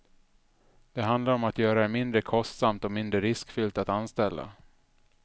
Det handlar om att göra det mindre kostsamt och mindre riskfyllt att anställa.